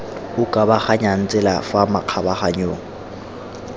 o kabaganyang tsela fa makgabaganyong